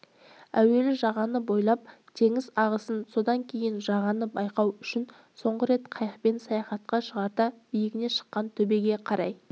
әуелі жағаны бойлап теңіз ағысын содан кейін жағаны байқау үшін соңғы рет қайықпен саяхатқа шығарда биігіне шыққан төбеге қарай